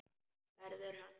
Verður hann.